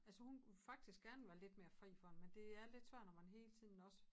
Altså hun faktisk gerne være lidt mere fri for det men det er lidt svært når man hele tiden også